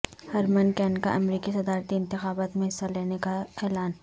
Hermann Cain کا امریکی صدارتی انتخابات میں حصہ لینے کا اعلان